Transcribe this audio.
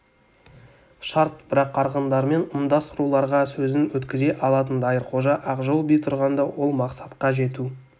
шарт бірақ арғындармен ымдас руларға сөзін өткізе алатын дайырқожа ақжол би тұрғанда ол мақсатқа жету